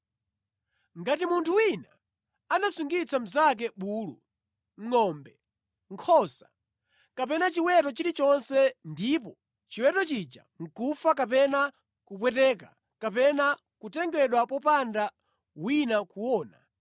“Ngati munthu wina anasungitsa mnzake bulu, ngʼombe, nkhosa, kapena chiweto chilichonse ndipo chiweto chija nʼkufa kapena kupweteka kapena kutengedwa popanda wina kuona,